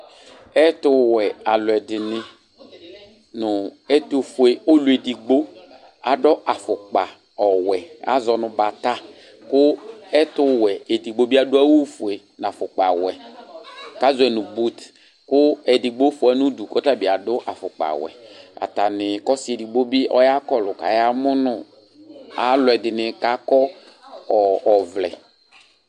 Ɛtuwɛ aluɛdini nu ɛtufue ɔluedigbo adu afukpa ɔwɛ azɔ nu bata ku ɛtuwɛ edigbo ɛdibi adu awu ofue nu afukpa ɔwɛ ku azɔɛ nu bɔti ku ɔsi edigbo fua nu udu ku tabi adu afukpa ɔwɛ atani ku ɔsi edigbo bi ɔya kɔlu kɔya mu nu aluɛdini kakɔ ɔvlɛ